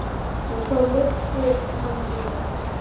Og svo lyfti hann henni upp.